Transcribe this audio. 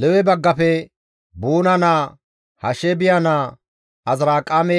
Lewe baggafe, Buune naa, Hashaabiya naa, Azirqaame